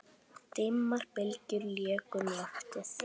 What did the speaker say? Dimmar bylgjur léku um loftið.